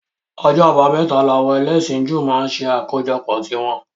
Ọjọ́ abámẹ́ta làwọn ẹlẹ́sìn Júù máa ń ṣe àkójọpọ̀ tí wọn